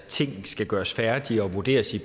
tingene skal gøres færdige og vurderes i